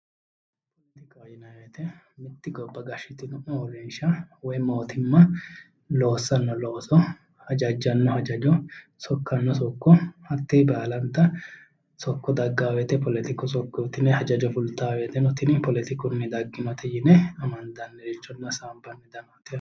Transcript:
Poletikaho yinayi woyte mitte gobb gashshitino uurrinsha woyi mootimma loossanno looso hajajjanno hajajo sokkanno sokko hattee baalanta sokko daggaa woyte poletiku sokkooti yine hajajo fultaa woyteno tini poletikunni dagginote yine amandannirichootinna hasaambannirichooti